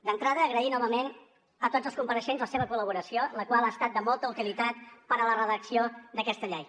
d’entrada agrair novament a tots els compareixents la seva col·laboració la qual ha estat de molta utilitat per a la redacció d’aquesta llei